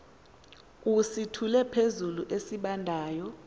usithule phezulu esibandayo